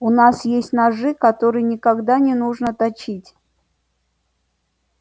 у нас есть ножи которые никогда не нужно точить